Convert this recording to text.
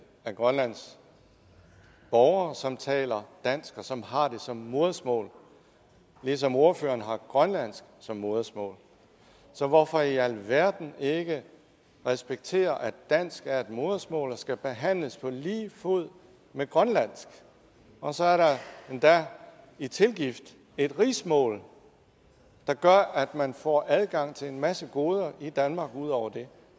af grønlands borgere som taler dansk og som har det som modersmål ligesom ordføreren har grønlandsk som modersmål så hvorfor i alverden ikke respektere at dansk er et modersmål og skal behandles på lige fod med grønlandsk og så er der endda i tilgift et rigsmål der gør at man får adgang til en masse goder i danmark ud over det